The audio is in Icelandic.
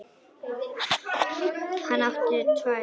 Hann átti tvær mömmur.